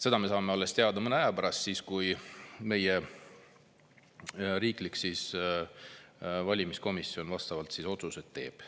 Seda me saame teada alles mõne aja pärast, kui meie riiklik valimiskomisjon vastavad otsused teeb.